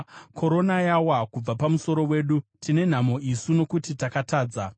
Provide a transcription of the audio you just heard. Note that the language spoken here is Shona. Korona yawa kubva pamusoro wedu. Tine nhamo isu, nokuti takatadza!